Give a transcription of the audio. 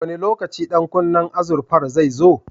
Wane lokaci ɗan kunnen azurfar zai zo?